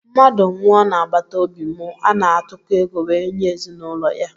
Mmadụ nwụọ na agbataobi mụ ana atụko ego wee nye ezinụlọ ya